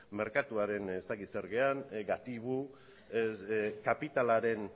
merkatuaren ez dakit zer garen gatibu kapitalaren